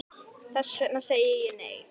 Þess vegna segi ég, nei!